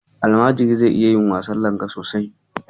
Almajiri zai ya iya wasan langa sosai.